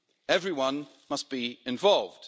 Everyone must be involved.